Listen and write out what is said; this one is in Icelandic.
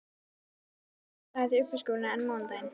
Föstudagur finnst mér fremur dagur til uppstokkunar en mánudagur.